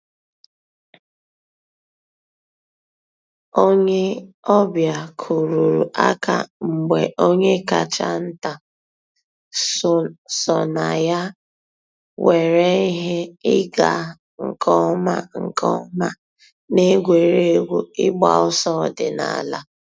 Ònyè ọ̀ bịa kùrùrù àkà mgbè ònyè káchà ńtà sọnà yà nwèrè íhè ị̀gà nkè ǒmà nkè ǒmà n'ègwè́régwụ̀ ị̀gba òsọ̀ òdìnàlà.